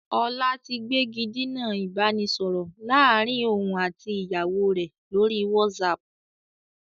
Ọlá tí gbégidinà ìbánisọọ̀rọ̀ láàrín òun àti ìyàwó rẹ lórí whatsapp.